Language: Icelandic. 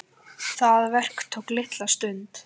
Það verk tók litla stund.